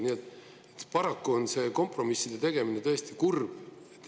Nii et, paraku on see kompromisside tegemine tõesti kurb.